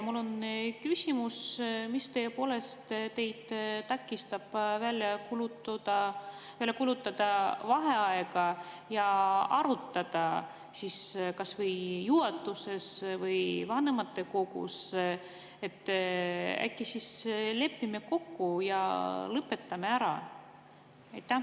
Mul on küsimus: mis teid takistab välja kuulutamast vaheaega ja arutada kas või juhatuses või vanematekogus, et äkki lepime kokku ja lõpetame ära?